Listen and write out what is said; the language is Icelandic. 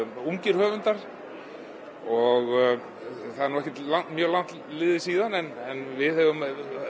ungir höfundar og það er ekkert mjög langt síðan en við höfum